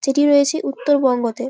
যেটি রয়েছে উত্তর বঙ্গতে ।